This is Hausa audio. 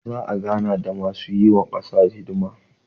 za a gana da masu yi wa kasa hisdima